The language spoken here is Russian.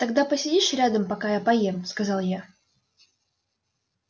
тогда посидишь рядом пока я поем сказал я